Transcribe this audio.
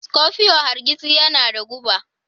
Scorpio hargitsi yana da guba.